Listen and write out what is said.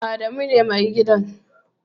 Adamu ne Mai gadin.